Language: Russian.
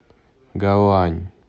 гаоань